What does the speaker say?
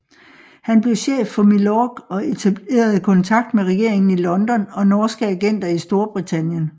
Han blev chef for Milorg og etablerede kontakt med regeringen i London og norske agenter i Storbritannien